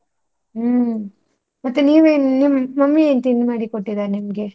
ಹ್ಮ್, ಮತ್ತೆ ನೀವೇನು ನಿಮ್ mummy ಏನ್ ತಿಂಡಿ ಮಾಡಿ ಕೊಟ್ಟಿದ್ದಾರೆ ನಿಮ್ಗೆ?